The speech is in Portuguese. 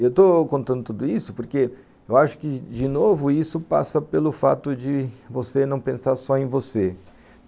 Eu estou contando tudo isso porque eu acho que, de novo, isso passa pelo fato de você não pensar só em você.